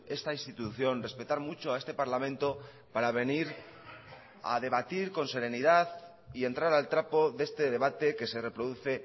esta institución respetar mucho a este parlamento para venir a debatir con serenidad y entrar al trapo de este debate que se reproduce